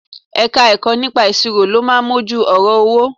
Ẹ̀ka-ẹ̀kọ́ nípa ìṣirò ló máa mójú ọ̀rọ̀ owó